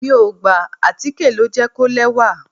Mi ò gbà, àtíkè ló jẹ́ kó lẹ́wà.